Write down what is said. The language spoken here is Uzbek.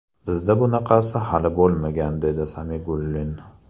Bizda bunaqasi hali bo‘lmagan”, dedi Samigullin.